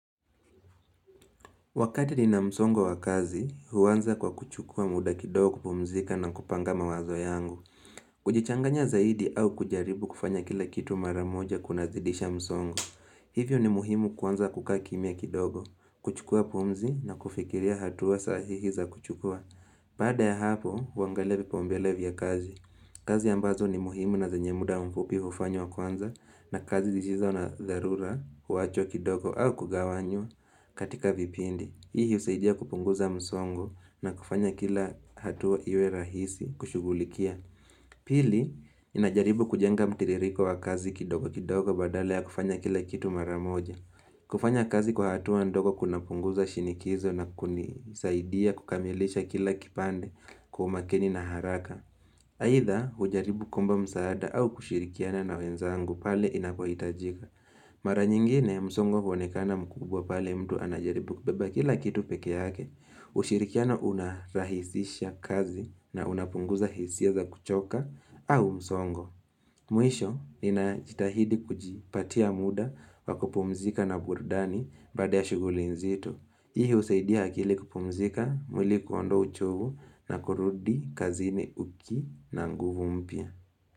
Wakati ninamsongo wa kazi, huanza kwa kuchukua muda kidogo kupumzika na kupanga mawazo yangu. Kujichanganya zaidi au kujaribu kufanya kila kitu mara moja kuna zidisha msongo. Hivyo ni muhimu kuanza kukaa kimya kidogo, kuchukua pumzi na kufikiria hatua sahihi za kuchukua. Baada ya hapo, huangalia vipaumbele vya kazi. Kazi ambazo ni muhimu na zenye muda mfupi hufanywa kwanza na kazi zisizo na dharura huwachwa kidogo au kugawanywa katika vipindi. Hii husaidia kupunguza msongo na kufanya kila hatua iwe rahisi kushughulikia. Pili, inajaribu kujenga mtiririko wa kazi kidogo kidogo badala ya kufanya kila kitu mara moja. Kufanya kazi kwa hatua ndogo kunapunguza shinikizo na kunisaidia kukamilisha kila kipande kwa umakini na haraka. Aidha, hujaribu kuomba msaada au kushirikiana na wenzangu pale inapohitajika. Mara nyingine msongo huonekana mkubwa pale mtu anajaribu kubeba kila kitu pekee yake, ushirikiano unarahisisha kazi na unapunguza hisia za kuchoka au msongo. Mwisho, ninajitahidi kujipatia muda wa kupumzika na burudani baada ya shughuli nzito. Hii husaidia akili kupumzika, mwili kuondoa uchovu na kurudi kazini uki na nguvu mpya.